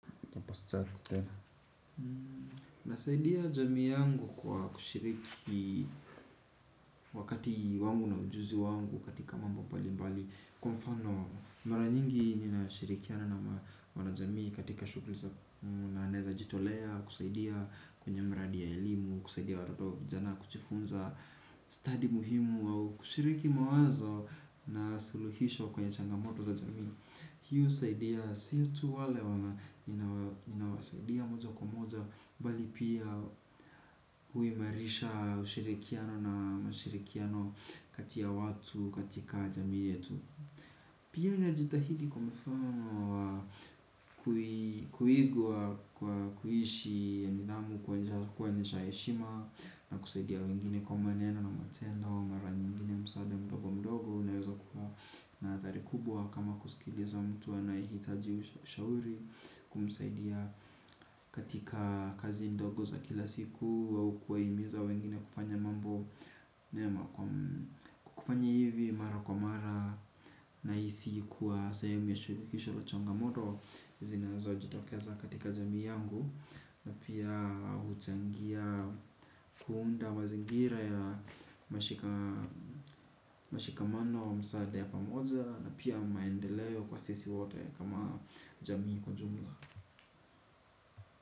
Nasaidia jamii yangu kwa kushiriki wakati wangu na ujuzi wangu katika mambo mbali mbali. Kwa mfano, mara nyingi ninashirikiana na wanajamii katika shughuli za na naeza jitolea. Kusaidia kwenye mradi ya elimu, kusaidia watoto vijana kujiifunza study muhimu au kushiriki mawazo na suluhisho kwenye changamoto za jamii. Hii husaidi si tu wale wana inawasaidia moja kwa moja bali pia huimarisha ushirikiano na mashirikiano kati ya watu katika jamii yetu. Pia najitahidi kwa mfumo wa kuigwa kwa kuishi nidhamu kwa njia ya kuonesha heshima na kusaidia wengine kwa maneno na matendo wa mara nyingine msaada mdogo mdogo unaweza kua na athari kubwa kama kusikiliza mtu anayehitaji ushauri kumsaidia katika kazi ndogo za kila siku au kuwahimiza wengine kufanya mambo mema kufanya hivi mara kwa mara nahisi kuwa sehemu ya suluhisho la chongamoto zinazo jitokeza katika jamii yangu na pia huchangia kuunda mazingira ya nashika mashikamano wa msaada ya pamoja na pia maendeleo kwa sisi wote kama jamii kwa jumla.